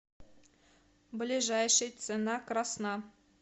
ближайший цена красна